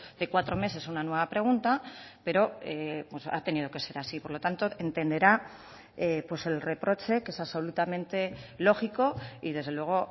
de cuatro meses una nueva pregunta pero ha tenido que ser así por lo tanto entenderá el reproche que es absolutamente lógico y desde luego